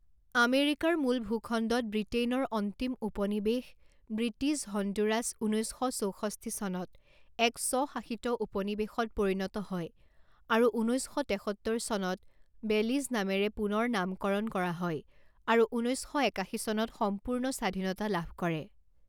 আমেৰিকাৰ মূল ভূখণ্ডত ব্ৰিটেইনৰ অন্তিম উপনিৱেশ ব্ৰিটিছ হণ্ডুৰাছ ঊনৈছ শ চৌষষ্ঠি চনত এক স্ব শাসিত উপনিৱেশত পৰিণত হয় আৰু ঊনৈছ শ তেসত্তৰ চনত বেলিজ নামেৰে পুনৰ নামকৰণ কৰা হয় আৰু ঊনৈছ শ একাশী চনত সম্পূৰ্ণ স্বাধীনতা লাভ কৰে।